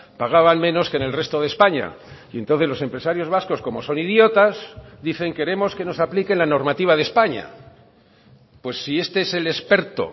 pagaban menos que en el resto de españa y entonces los empresarios vascos como son idiotas dicen queremos que nos apliquen la normativa de españa pues si este es el experto